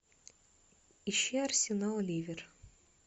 ищи арсенал ливер